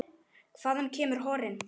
Hvaðan kemur horinn?